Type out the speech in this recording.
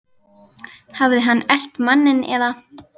Hafði hann elt manninn eða?